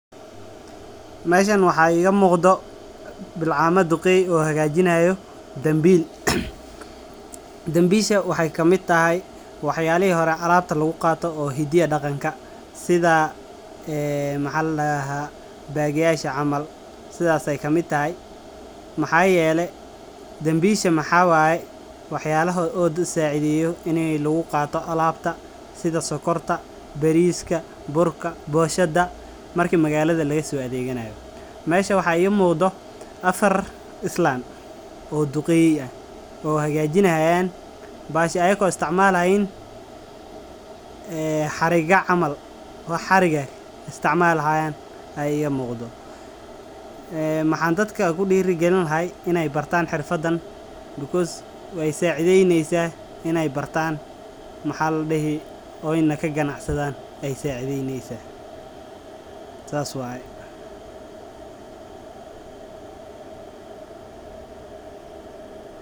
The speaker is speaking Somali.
Meshan waxaa iga muqdo, bilcama duqeey o hagajinayo dhanbil, dhanbishaa waxeey kamiid tahay wax yali horee alabta laagu qato o hidaha iyo daqankaa, sida ee maxaa ladaha bag yashaa camal sithaas ayeey kamiid tahay, maxaa yelee, dhanbishaa maxaa waaye waaxyalaha o dadkaa sacidheyo ini lagu qaato alabta, sithaa sokorta, bariska, burka, boshaada marki magalada lagga so adheganayo, meshaa waxaa iga muqdo afar islan, o duqeey ah, o hagajinayan bahashi ayago isticmaalayin, ee xariga camal, wax xarigg eh istacmalahayan ya iga muqdoo, maxaa dadka ku diragalini lahay ine bartan xirfadahan, because wexee sacideyneysaa, ine bartan, maxaa ladihi oyna kagganacsadhan ee sacideyneysa. sas wayee.